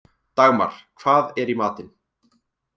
Dagmar, hvað er í matinn?